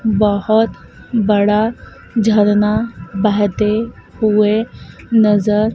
बहोत बड़ा झरना बहते हुए नजर--